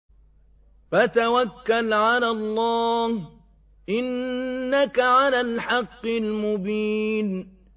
فَتَوَكَّلْ عَلَى اللَّهِ ۖ إِنَّكَ عَلَى الْحَقِّ الْمُبِينِ